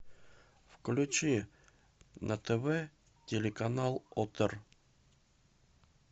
включи на тв телеканал отр